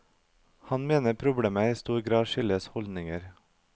Han mener problemet i stor grad skyldes holdninger.